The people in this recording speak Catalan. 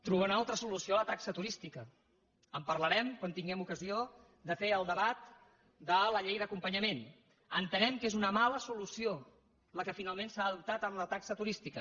trobar una altra solució a la taxa turística en parlarem quan tinguem ocasió de fer el debat de la llei d’acompanyament entenem que és una mala solució la que finalment s’ha adoptat amb la taxa turística